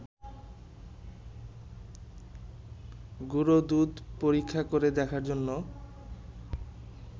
গুঁড়োদুধ পরীক্ষা করে দেখার জন্য